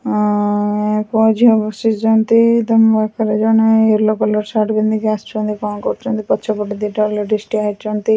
ଉଁ ଏହା ପୁଅ ଝିଅ ବସିଊନ୍ତି। ତମ ପାଖରେ ଜଣେ ୟେଲୋ କଲର୍ ସାର୍ଟ ପିନ୍ଧିକି ଆସିଚନ୍ତି କ'ଣ କରୁଚନ୍ତି। ପଛପଟେ ଦିଟା ଯାକ ଲେଡ଼ିସ୍ ଠିଆ ହୋଇଛନ୍ତି।